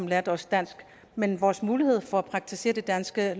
lære os dansk men vores mulighed for at praktisere det danske